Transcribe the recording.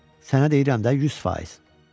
Sənə deyirəm də, 100%.